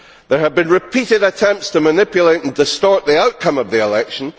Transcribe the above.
There have been repeated attempts to manipulate and distort the outcome of the election.